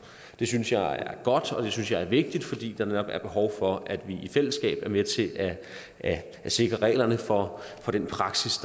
det synes jeg er godt og det synes jeg er vigtigt fordi der netop er behov for at vi i fællesskab er med til at sikre reglerne for den praksis